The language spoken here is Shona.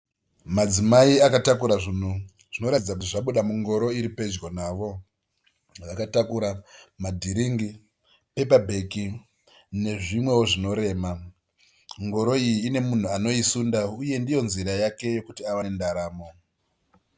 Madzimai akatakura zvinhu, zvinoratidza kuti zvabuda mungoro iri pedyo vavo. vakatakura madhiringi pepabheki nezvimwewo zvinorema. Ngoro iyi inemunhu anoisunda uye ndiyo nzira yake yekuti awane ndaramo.